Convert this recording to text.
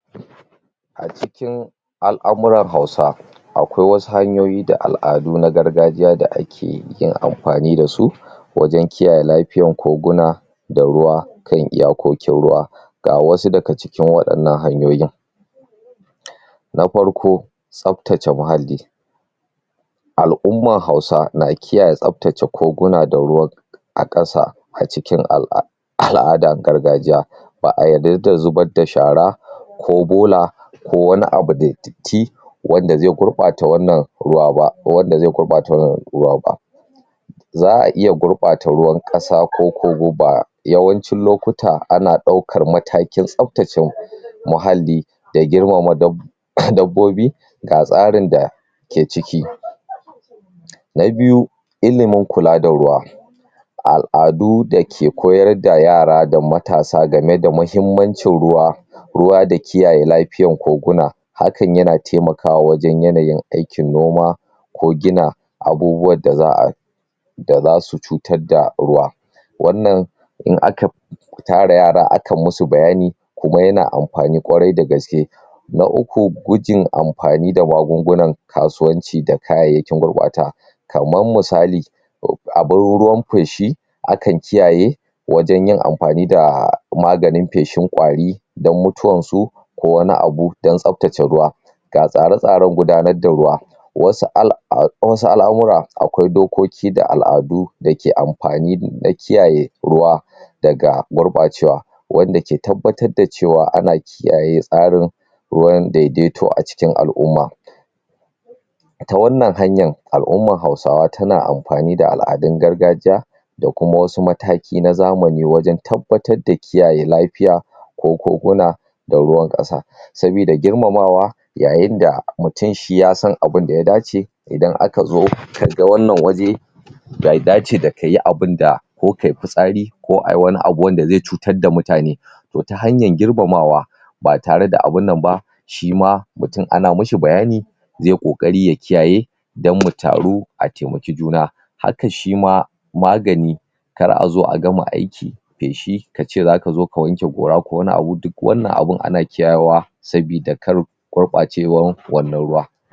a cikin a'lamuran hausa akwai was hanyoyi da al'adu na gargajiya da ake yi yin amfani dasu wajan kiyaye lafiyar koguna da ruwa kan iyakokin ruwa ga wasu daga cikin wadannan hanyoyin nafarko tsaftace muhalli al' umman hausa na kiyaye tsaface koguna da ruwan akasa acikin al'adar gargajiya ba'a yarda da zubarda shara ko bola ko wani abu da datti wanda ze gurɓata wannan ruwa ba wanda ze gurbata wannan ruwa ba za'aiya gurbata ruwan kasa koko koba yawancin lokuta ana daukar matakin tsaftace muhalli da girmama dab dabbobi ga tsarin da ke ciki na biyu ilimin kula da ruwa al'adu dake koyarda yara da matasa game da mahimmancin ruwa ruwa da kiyaye lafiyar koguna hakan yana taimakawa wajan yanayin aikin noma ko gina abubuwan da za'a da zasu cutarda ruwa wannan in aka tara yara aka musu bayani kuma yana amfani kwarai da gaske na uku gujin amfani da magungunan kasuwanci da kayayyakin gurɓata kaman misali (ru) abin ruwan feshi akan kiyaye wajan yin amfani da maganin feshin kwari don mutuwansu ko wani abu don tsaftace ruwa ga tsare tsaren gudanarda ruwa wasu al a wasu al'amura akwai dokoki da al'adu dake amfani na kiyaye ruwa daga gurbacewa wanda ke tabbatar da cewa ana kiyaye tsarin ruwan daideto acikin al'umma ita wannan hanyan a'umman hausawa tana amfani da al'adun gargajiya dakuma wasu mataki na zamani wajan tabbatarda kiyaye lafiya ko koguna da ruwan kasa sabida girmamawa yayinda mutum shi ya san abinda ya dace idan akazo kaga wannan waje be dace kayi abinda ko kayi fitsari ko ayi wani abu wanda ze cutar da mutane to ta hanyar girmamawa ba tareda abunnan ba shima mutum ana mishi bayani zeyi kokari ya kiyaye dan mutaru ataimaki juna haka shima magani kar azo agama aiki feshi kace zakazo ka wanke gora ko wani abu duk wannan abu ana kyawa sabida kar gurɓacewan wannan ruwa